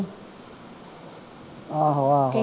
ਆਹੋ ਆਹੋ